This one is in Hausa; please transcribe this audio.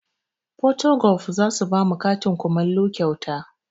Porto golf zasu bamu katin kumallo kyauta